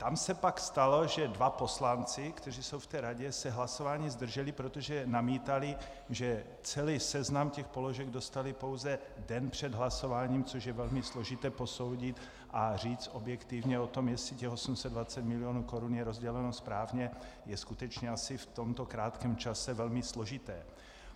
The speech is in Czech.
Tam se pak stalo, že dva poslanci, kteří jsou v té radě, se hlasování zdrželi, protože namítali, že celý seznam těch položek dostali pouze den před hlasováním, což je velmi složité posoudit, a říct objektivně o tom, jestli těch 820 mil. korun je rozděleno správně, je skutečně asi v tomto krátkém čase velmi složité.